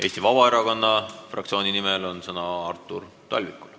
Eesti Vabaerakonna fraktsiooni nimel on sõna Artur Talvikul.